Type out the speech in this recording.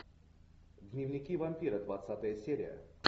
дневники вампира двадцатая серия